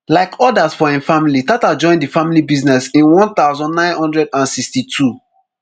like odas for im family tata join di family business in one thousand, nine hundred and sixty-two